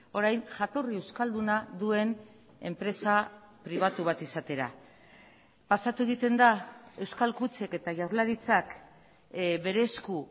orain jatorri euskalduna duen enpresa pribatu bat izatera pasatu egiten da euskal kutxek eta jaurlaritzak bere esku